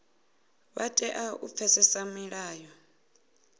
vha tea u pfesesa milayo